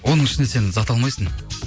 оның ішінен сен зат алмайсың